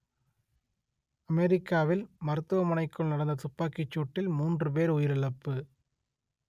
அமெரிக்காவில் மருத்துவமனைக்குள் நடந்த துப்பாக்கிச்சூட்டில் மூன்று பேர் உயிரிழப்பு